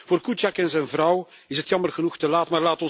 Voor Kuciak en zijn vrouw is het jammer genoeg te laat.